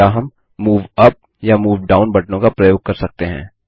या हम move up या मूव डाउन बटनों का प्रयोग कर सकते हैं